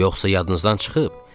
Yoxsa yadınızdan çıxıb?